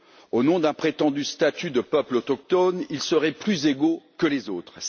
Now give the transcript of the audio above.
Au nom d'un prétendu statut de peuples autochtones, ils seraient plus égaux que les autres.